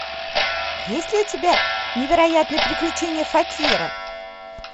есть ли у тебя невероятные приключения факира